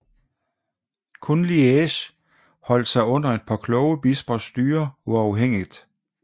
Kun Liège holdt sig under et par kloge bispers styre uafhængigt